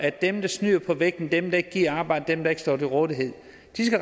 at dem der snyder på vægten dem der ikke gider arbejde dem der ikke står til rådighed